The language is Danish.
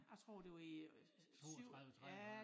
Jeg tror det var i 7 ja